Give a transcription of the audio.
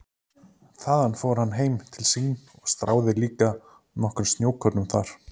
Þaðan fór hann heim til sín og stráði líka nokkrum snjókornum þar.